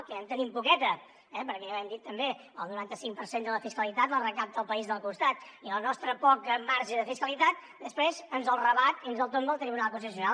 que ja en tenim poqueta eh perquè ja ho hem dit també el noranta cinc per cent de la fiscalitat la recapta el país del costat i el nostre poc marge de fiscalitat després ens el rebat i ens el tomba al tribunal constitucional